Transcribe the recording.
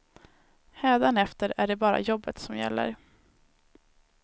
Hädanefter är det bara jobbet som gäller.